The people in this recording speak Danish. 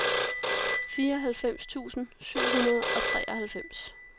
fireoghalvfems tusind syv hundrede og treoghalvfems